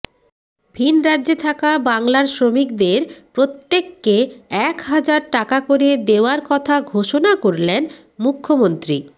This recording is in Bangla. ভিনরাজ্যে থাকা বাংলার শ্রমিকদের প্রত্যেককে এক হাজার টাকা করে দেওয়ার কথা ঘোষনা করলেন মুখ্যমন্ত্রী